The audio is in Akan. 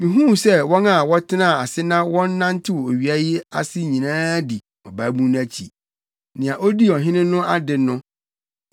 Mihuu sɛ wɔn a wɔtenaa ase na wɔnantew owia yi ase nyinaa dii ɔbabun no akyi, nea odii ɔhene no ade no.